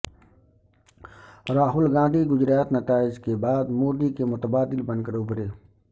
راہل گاندھی گجرات نتائج کے بعد مودی کے متبادل بن کر ابھرے